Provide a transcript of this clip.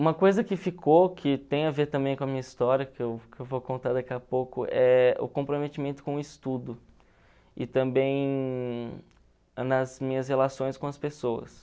Uma coisa que ficou, que tem a ver também com a minha história, que eu que eu vou contar daqui a pouco, é o comprometimento com o estudo e também nas minhas relações com as pessoas.